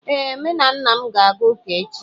Ee, M na nna m ga-aga ụka echi